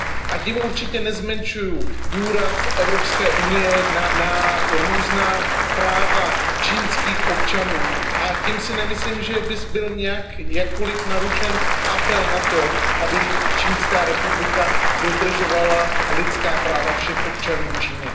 A tím určitě nezmenšuji důraz Evropské unie na různá práva čínských občanů a tím si nemyslím, že by zde byl jakkoliv narušen apel na to, aby Čínská republika dodržovala lidská práva všech občanů Číny.